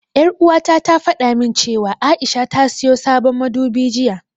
Ƴar'uwata ta fada min cewa A'isha ta siyo sabon madubi jiya.